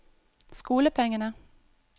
skolepengene